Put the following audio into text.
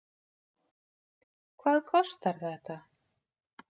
Hvað kostar þetta?